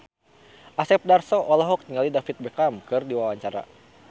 Asep Darso olohok ningali David Beckham keur diwawancara